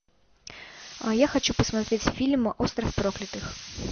я хочу посмотреть фильм остров проклятых